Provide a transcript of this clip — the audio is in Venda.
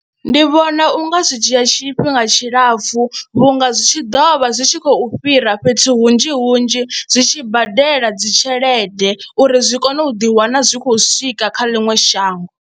Ndi vhona u nga zwi dzhia tshifhinga tshilapfhu vhunga zwi tshi ḓo vha zwi tshi khou fhira fhethu hunzhi hunzhi zwi tshi badela dzi tshelede uri zwi kone u ḓiwana zwi khou swika kha ḽiṅwe shango.